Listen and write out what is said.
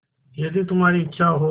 यदि तुम्हारी इच्छा हो